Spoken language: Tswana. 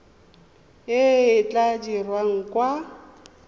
e e tla dirwang kwa